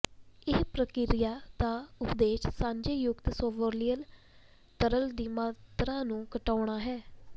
ਇਸ ਪ੍ਰਕਿਰਿਆ ਦਾ ਉਦੇਸ਼ ਸਾਂਝੇ ਯੁਕਤ ਸੋਲਵੋਲਿਅਲ ਤਰਲ ਦੀ ਮਾਤਰਾ ਨੂੰ ਘਟਾਉਣਾ ਹੈ